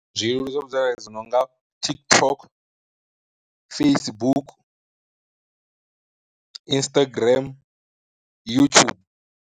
Zwileludzi zwa vhudzekani dzi nonga TikTok, Facebook, Instagram, youtube.